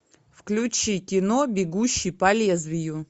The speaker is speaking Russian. включи кино бегущий по лезвию